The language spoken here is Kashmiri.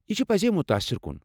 یہِ چُھ پزے مُتٲصِر كُن ۔